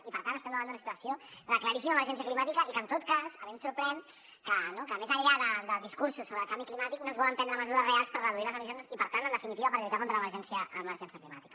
i per tant estem davant d’una situació de claríssima emergència climàtica i que en tot cas a mi em sorprèn que més enllà de discursos sobre el canvi climàtic no es volen prendre mesures reals per reduir les emissions i per tant en definitiva per lluitar contra l’emergència climàtica